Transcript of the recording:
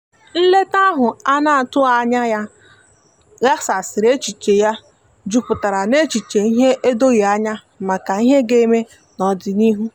nleta ahu ana atughi anya ya gbaghasiri echiche ya juputara na echiche ihe edoghi anya maka ihe ga-eme n'odịnihu